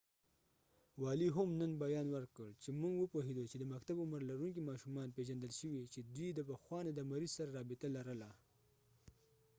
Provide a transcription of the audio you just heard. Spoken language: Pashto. والي هم نن بیان ورکړ چې موږ وپوهیدو چې د مکتب عمر لرونکې ماشومان پیژندل شوي چې دوي د پخوا نه د مریض سره رابطه لرله